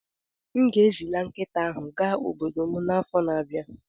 M ga-ezila nkịta ahụ ga obodo m n'afọ na-abịa.